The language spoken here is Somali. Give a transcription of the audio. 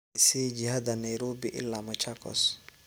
i sii jihada nairobi ilaa machakos